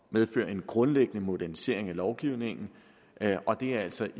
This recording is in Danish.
medføre en grundlæggende modernisering af lovgivningen og det er altså